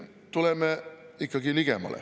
Tuleme ikkagi ligemale.